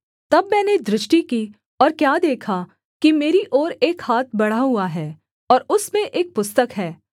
तब मैंने दृष्टि की और क्या देखा कि मेरी ओर एक हाथ बढ़ा हुआ है और उसमें एक पुस्तक है